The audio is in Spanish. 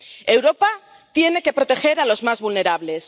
Europa tiene que proteger a los más vulnerables.